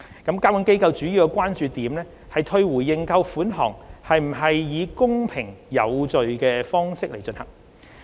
監管機構主要關注退回認購款項是否以公平有序的方式進行。